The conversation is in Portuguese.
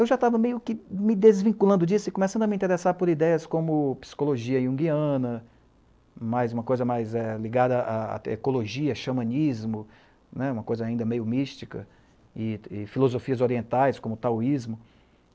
Eu já estava meio que me desvinculando disso e começando a me interessar por ideias como psicologia iunguiana, mais uma coisa mais ligada à ecologia, xamanismo, uma coisa ainda meio mística, e filosofias orientais como o taoísmo.